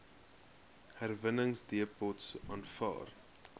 herwinningsdepots aanvaar